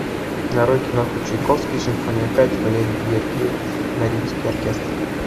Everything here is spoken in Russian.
нарой киноху чайковский симфония пять валерий гергиев мариинский оркестр